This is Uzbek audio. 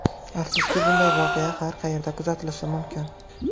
Afsuski, bunday voqea har qayerda kuzatilishi mumkin.